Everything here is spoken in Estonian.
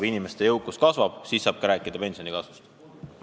Kui inimeste jõukus kasvab, siis saab rääkida pensionikasvust.